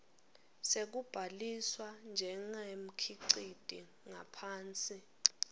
sekubhaliswa njengemkhiciti ngaphansi